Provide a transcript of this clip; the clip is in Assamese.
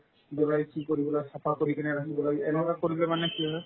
চাফা কৰি কিনে মানে এনেকুৱা কৰিলে মানে কি হয়